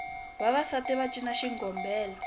vavasati va cina xigombela